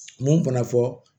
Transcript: Mun fana fɔ